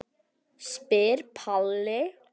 spyr Palli.